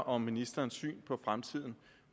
om ministerens syn på fremtiden